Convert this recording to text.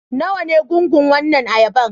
Nawa ne gungun wannan ayaban?